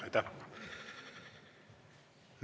Aitäh!